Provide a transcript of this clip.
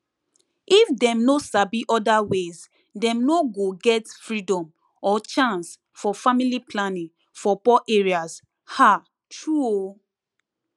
if dem no sabi other ways dem no go get freedom or chance for family planning for poor areas ah true o